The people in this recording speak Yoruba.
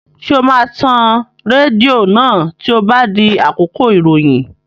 Ṣé o máa tan rédíò náà tí ó bá di àkókò ìròyìn?